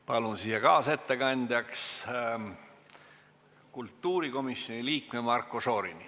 Palun kaasettekandjaks kultuurikomisjoni liikme Marko Šorini.